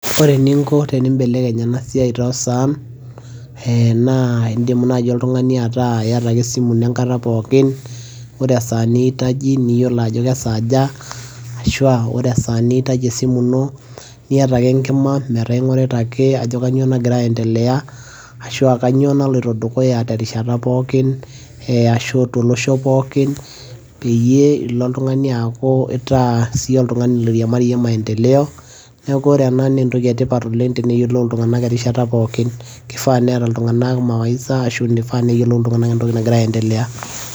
ore eninko tenibelekeny ena siai too saan, naa idim ake oltungani ataa iyata ake esimu ino enkata pookin, ore esaa niitaji, niyiolo ajo kesaaja, ashu aa ore esaa niitaji esimu ino iyata ake enkima, metaa ing'orita ake ajo kainyioo nagira aendelea, ashu kainyioo naloito dukuya te rishata pookin eashu tolosho pookin. peyie ilo oltungai aaku itaa siiyie oltungani oiriamariyie maendeleo neeku ore ena naa a entoki etipat oleng teneyiolou iltungank erishata pookin. kifaa neeta iltungank mawaidha asu kifaa neyiolou iltunganak entoki nagira aendelea.